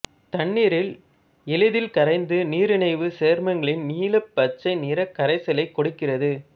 தண்ணீரில் எளிதில் கரைந்து நீரணைவுச் சேர்மங்களின் நீலப்பச்சை நிறக் கரைசலைக் கொடுக்கிறது